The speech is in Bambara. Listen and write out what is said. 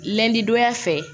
Lɛndi donya fɛ